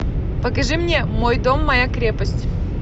покажи мне мой дом моя крепость